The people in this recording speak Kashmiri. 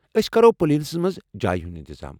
أسۍ کرو پولینس منٛز جایہ ہُنٛد انتظام ۔